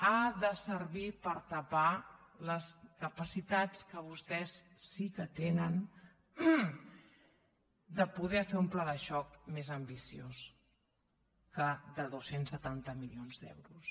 ha de servir per tapar les capacitats que vostès sí que tenen de poder fer un pla de xoc més ambiciós que de dos cents i setanta milions d’euros